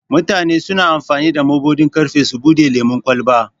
Mutane suna amfani da mabuɗin ƙarfe su bude lemun ƙwalba.